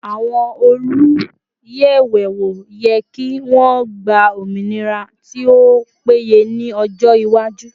Àwọn oluyẹwewo yẹ kí wọn gba ominira tí ó péye ni ọjọ iwaju